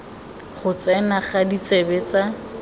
go tsena ga ditsebe tsa